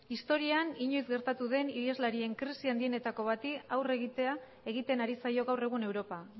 historian inoiz gertatu den iheslarien krisi handienetako bati aurre egitea egiten ari zaio gaur egun europa